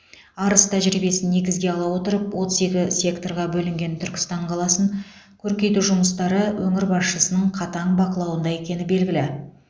арыс тәжірибесін негізге ала отырып отыз екі секторға бөлінген түркістан қаласын көркейту жұмыстары өңір басшысының қатаң бақылауында екені белгілі